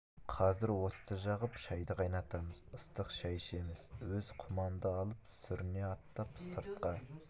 қазір отты жағып шайды қайнатамыз ыстық шай ішеміз өзі құманды алып сүріне аттап сыртқа